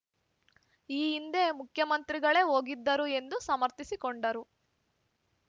ಈ ಹಿಂದೆ ಮುಖ್ಯಮಂತ್ರಿಗಳೇ ಹೋಗಿದ್ದರು ಎಂದು ಸಮರ್ಥಿಸಿಕೊಂಡರು